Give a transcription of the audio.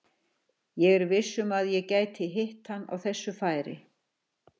Ég er viss um að ég gæti hitt hann á þessu færi.